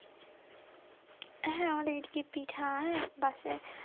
হ্যাঁ আমাদের এই দিকে পিঠা হ্যাঁ